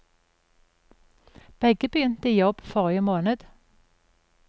Begge begynte i jobb forrige måned.